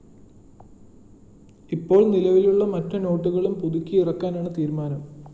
ഇപ്പോള്‍ നിലവിലുള്ള മറ്റ് നോട്ടുകളും പുതുക്കി ഇറക്കാനാണ് തീരുമാനം